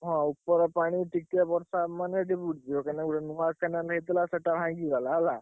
ହଁ ଉପର ପାଣି ଟିକେ ବର୍ଷା ହବ ମାନେ ଏଠି ବୁଡିଯିବ କାହିଁକି ନା ଗୋଟେ ନୂଆ canal ହେଇଥିଲା।